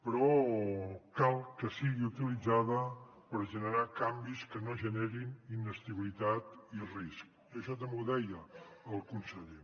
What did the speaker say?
però cal que sigui utilitzada per generar canvis que no generin inestabilitat ni risc i això també ho deia el conseller